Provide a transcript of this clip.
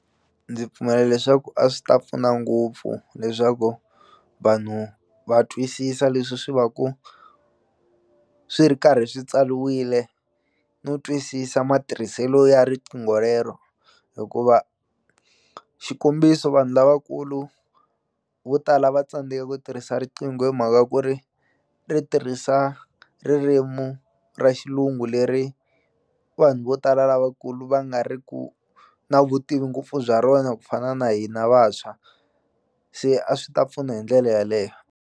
Ndzi pfumela leswaku a swi ta pfuna ngopfu leswaku vanhu va twisisa leswi swi va ku swi ri karhi swi tsaliwile no twisisa matirhiselo ya riqingho rero hikuva xikombiso vanhu lavakulu vo tala va tsandzeka ku tirhisa riqingho hi mhaka ku ri ri tirhisa ririmu ra xilungu leri vanhu vo tala lavakulu va nga ri ku na vutivi ngopfu bya rona ku fana na hina vantshwa se a swi ta pfuna hi ndlele yaleyo.